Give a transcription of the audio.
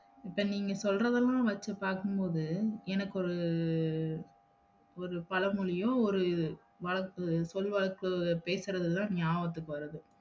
அப்ப நீங்க சொல்றதெல்லாம் வச்சு பாக்கும்போது எனக்கு ஒரு ஒரு பழமொழியோ, ஒரு வழக்கு சொல் வழக்கு பேசுறதுதா நியாபகத்துக்கு வருது